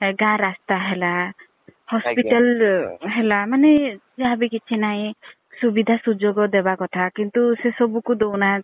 ଗାଁ ରାସ୍ତା ହେଲା hospital ଆଜ୍ଞା। ହେଲା ମାନେ ଯାହା ବି କିଛି ନାହିଁ ସୁବିଧା ସୁଯୋଗ ଦବା କଥା କିନ୍ତୁ ସେସବୁକୁ ଦେଉ ନାହାନ୍ତି